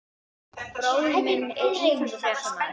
Bróðir minn er íþróttafréttamaður.